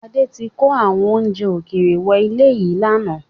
Adé tí kò àwọn oúnjẹ ókéré wọ ilẹ̀ yìí láánaà